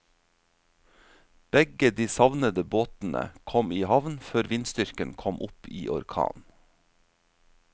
Begge de savnede båtene kom i havn før vindstyrken kom opp i orkan.